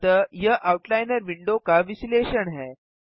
अतः यह outliner window का विश्लेषण है